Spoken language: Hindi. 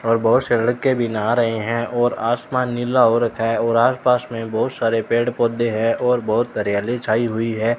और बहुत से लड़के भी नहा रहे हैं और आसमान नीला हो रखा है और आसपास में बहुत सारे पेड़ पौधे हैं और बहुत हरियाली छाई हुई है।